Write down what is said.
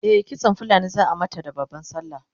e kitsan fulani zaa mata da babban sallah